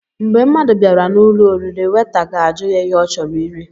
Mgbé mmadụ bịara n'ụlọ oriri, weta gaajụ ya ihe ọ chọrọ iri.